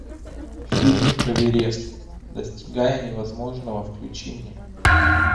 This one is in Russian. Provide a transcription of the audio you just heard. фильм эверест достигая невозможного включи мне